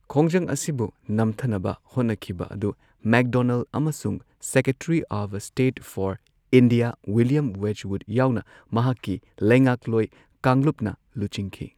ꯈꯣꯡꯖꯪ ꯑꯁꯤꯕꯨ ꯅꯝꯊꯅꯕ ꯍꯣꯠꯅꯈꯤꯕ ꯑꯗꯨ ꯃꯦꯛꯗꯣꯅꯜꯗ ꯑꯃꯁꯨꯡ secretary of state for India, William Wedgwood ꯌꯥꯎꯅ ꯃꯍꯥꯛꯀꯤ ꯂꯩꯉꯥꯛꯂꯣꯏ ꯀꯥꯡꯂꯨꯞꯅ ꯂꯨꯆꯤꯡꯈꯤ꯫